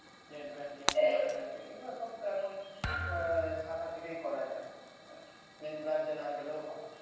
net banking, mobile banking এগুলা সব তো এখন শাখা থেকেই করা যায় main branch এ না গেলেও হয়